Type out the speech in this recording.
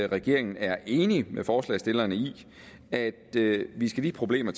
regeringen er enig med forslagsstillerne i at vi skal de problemer